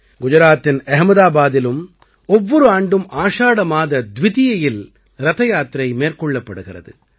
குஜராத்தின் அஹ்மதாபாதிலும் ஒவ்வொரு ஆண்டும் ஆஷாட மாத துவிதியையில் ரதயாத்திரை மேற்கொள்ளப்படுகிறது